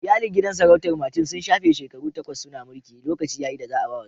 Iyalin gidan sarautar Martins sun shafe shekaru takwas suna mulki, lokaci ya yi da za'a ba wasu.